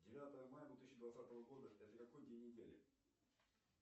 девятого мая две тысячи двадцатого года это какой день недели